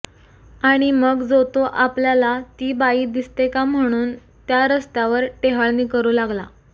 आणि मग जो तो आपल्याला ती बाई दिसते का म्हणून त्या रस्यावर टेहळणी करू लागला